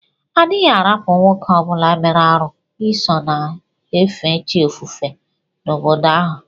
Adighi arapu nwoke obula mere arụ iso na efe chi ofufe na obodo ahu.